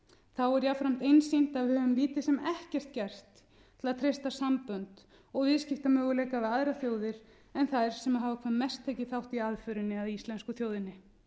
þá er jafnframt einsýnt að við höfum lítið sem ekkert gert til að treysta sambönd og viðskiptamöguleika við aðrar þjóðir en þær sem hafa hvað mest tekið þátt í aðförinni að íslensku þjóðinni